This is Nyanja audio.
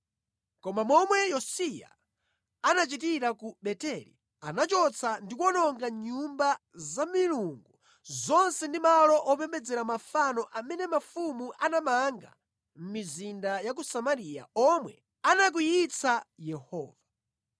Monga momwe Yosiya anachitira ku Beteli, anachotsa ndi kuwononga nyumba za milungu zonse ndi malo opembedzera mafano amene mafumu anamanga mʼmizinda ya ku Samariya omwe anakwiyitsa Yehova.